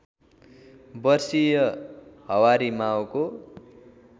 वर्षीय हवारी माओको